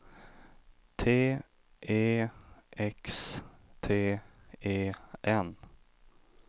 T E X T E N